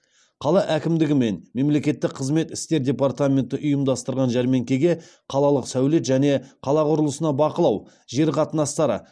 қала әкімдігі мен мемлекеттік қызмет істері департаменті ұйымдастырған жәрмеңкеге қалалық сәулет және қала құрылысына бақылау жер қатынастары